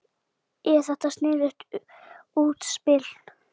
Er þetta sniðugt útspil?